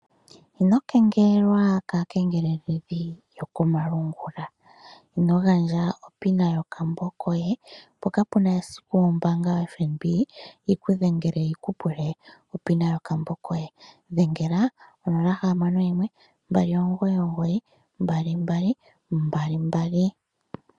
Ino kengelelwa kaakengeleledhi yokomalungula. Ino gandja opin yokambo koye, po kapu na esiku ombaanga yoFNB yi ku dhengele yi ku pule opin yokambo koye. Dhengela onola hamano yimwe, mbali omugoyi omugoyi, mbali mbali, mbali mbali.